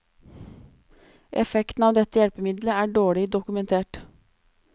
Effekten av dette hjelpemiddel er dårlig dokumentert.